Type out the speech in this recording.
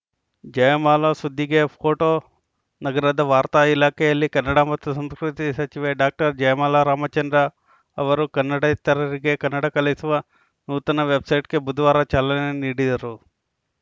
ಜಯಮಾಲಾ ಸುದ್ದಿಗೆ ಫೋಟೋ ನಗರದ ವಾರ್ತಾ ಇಲಾಖೆಯಲ್ಲಿ ಕನ್ನಡ ಮತ್ತು ಸಂಸ್ಕೃತಿ ಸಚಿವೆ ಡಾಕ್ಟರ್ ಜಯಮಾಲಾ ರಾಮಚಂದ್ರ ಅವರು ಕನ್ನಡೇತರರಿಗೆ ಕನ್ನಡ ಕಲಿಸುವ ನೂತನ ವೆಬ್‌ಸೈಟ್‌ಗೆ ಬುಧವಾರ ಚಾಲನೆ ನೀಡಿದರು